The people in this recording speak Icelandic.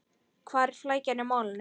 Hvar er flækjan í málinu?